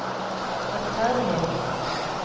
rettferdighetens